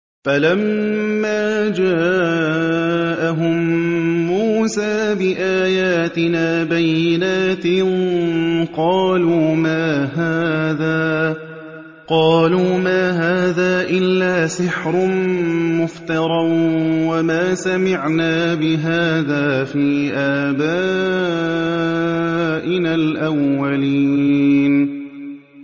فَلَمَّا جَاءَهُم مُّوسَىٰ بِآيَاتِنَا بَيِّنَاتٍ قَالُوا مَا هَٰذَا إِلَّا سِحْرٌ مُّفْتَرًى وَمَا سَمِعْنَا بِهَٰذَا فِي آبَائِنَا الْأَوَّلِينَ